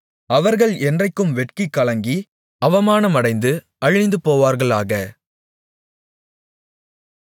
அவர்கள் என்றைக்கும் வெட்கிக் கலங்கி அவமானமடைந்து அழிந்துபோவார்களாக